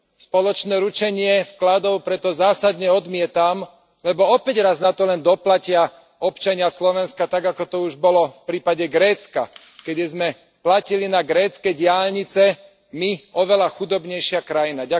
Spoločné ručenie vkladov preto zásadne odmietam, lebo opäť raz na to len doplatia občania Slovenska, tak ako to už bolo v prípade Grécka, keď sme platili na grécke diaľnice my, oveľa chudobnejšia krajina.